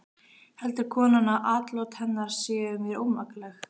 Heldur konan að atlot hennar séu mér ómakleg?